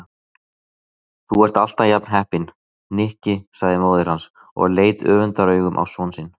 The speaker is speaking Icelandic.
Þú ert alltaf jafn heppinn, Nikki sagði móðir hans og leit öfundaraugum á son sinni.